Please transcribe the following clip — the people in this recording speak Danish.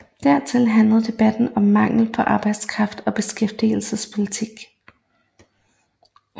Dertil handlede debatten om mangel på arbejdskraft og beskæftigelsespolitik